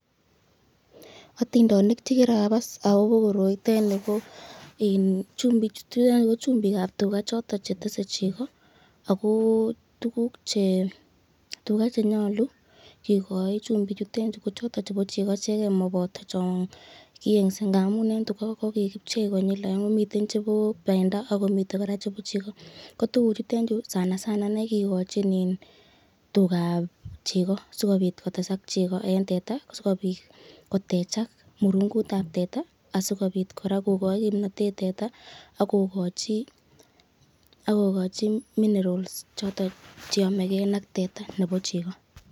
Otindenik chekirakas akobo koroitet nii ko chumbichutet ko chumbikab tukaa choton chetese chekoo ak ko tukuk che tukaa chenyolu kikoi chumbichutet chuu ko tukaa chebo chekoo icheken moboto chon kiyeng'se amuun en tukaa ko kipchei konyil akeng'e ak ko miten chebo bendo ak komiten alak kora chebo chekoo, ko tukuchuton chuu sana sana ineii kikochin iin tukaab chekoo sikobiit kotesak chekoo en tetaa sikobiit kotechak murungutab tetaa sikobiit kora kokochi kimnotet tetaa ak kokochi minerals choton cheyomekee ak tetaa nebo chekoo.